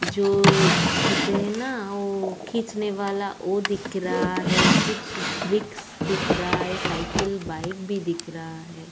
जो होते हैं ना वो खींचने वाला वो दिख रहा है। कुछ ब्रिक्स दिख रहा है। साइकिल बाइक भी दिख रहा है।